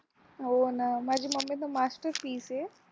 हो ना माझी मम्मी पण master piece आहे